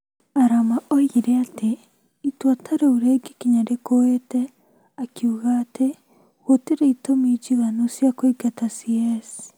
Arama oigire atĩ itua ta rĩu rĩngĩkinya rĩkũĩtĩ, akiuga atĩ gũtirĩ itũmi njiganu cia kũingata CS.